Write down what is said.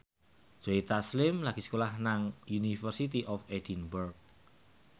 Joe Taslim lagi sekolah nang University of Edinburgh